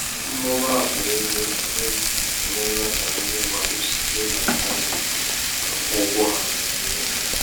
mmụba akpa égo ekwentị emeela ka ndị mmadụ site n'intanetị akwụ ụgwọ ha.